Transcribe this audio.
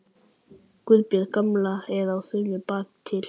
Guðbjörg gamla er á þönum bakatil.